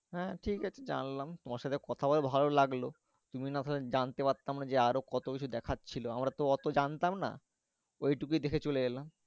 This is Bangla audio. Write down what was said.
হ্যাঁ ঠিকাছে জানলাম তোমার সাথে কথা বলে ভালো লাগলো। তুমি না থাকলে জানতে পারতাম না যে, আরো কত কিছু দেখার ছিল। আমরা তো অত জানতাম না ঐটুকুই দেখে চলে এলাম।